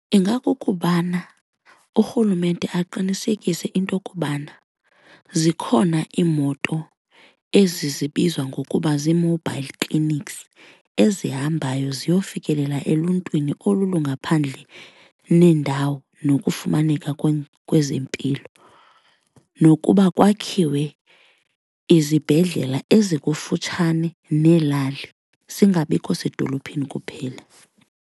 Ingakukubana urhulumente aqinisekise into kubana zikhona iimoto ezi zibizwa ngokuba zii-mobile clinics ezihambayo ziyofikelela eluntwini olu lungaphandle nendawo nokufumaneka kwezempilo nokuba kwakhiwe izibhedlela ezikufutshane neelali singabikho sedolophini kuphela.